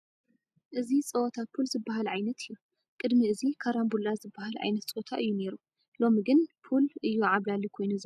እዚ ፀወታ ፑል ዝበሃል ዓይነት እዩ፡፡ ቅድሚ እዚ ካራንቡላ ዝበሃል ዓይነት ፆታ እዩ ነይሩ፡፡ ሎሚ ግን ፑል እዩ ዓብላሊ ኮይኑ ዘሎ፡፡